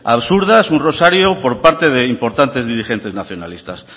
absurdas un rosario por parte de importantes dirigentes nacionalistas